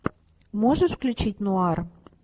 можешь включить нуар